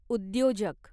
उद्योजक